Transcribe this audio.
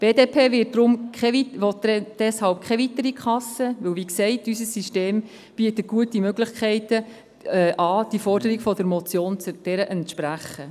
Die BDP-Fraktion will deshalb keine weitere Kasse, denn wie gesagt, bietet unser System gute Möglichkeiten an, der Forderung der Motion zu entsprechen.